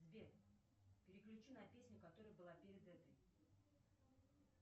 сбер переключи на песню которая была перед этой